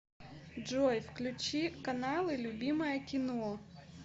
джой включи каналы любимое кино